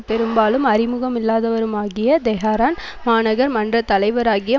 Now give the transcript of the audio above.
பெரும்பாலும் அறிமுகமில்லாதவருமாகிய தெஹெரான் மாநகர் மன்ற தலைவராகிய